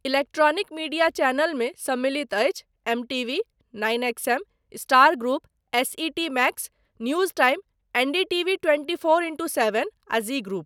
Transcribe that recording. Electronic media चैनलमे सम्मिमिलत अछि MTV, nine XM., star group, SET max, news time, NDTV. Twenty four into seven आ Zee group.